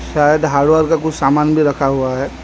शायद हार्डवेयर का कुछ सामान भी रखा हुआ है।